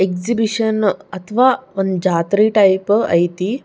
Exhibition ಅಥವಾ ಒಂದು ಜಾತ್ರೆ ಟೈಪ್ ಐತಿ.